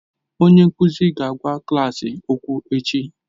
Onye nkuzi ga-agwa klas okwu echi